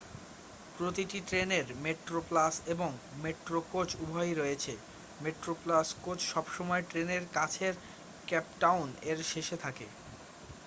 প্রতিটি ট্রেনের মেট্রোপ্লাস এবং মেট্রো কোচ উভয়ই রয়েছে মেট্রোপ্লাস কোচ সবসময় ট্রেনেরকাছের কেপটাউন এর শেষে থাকে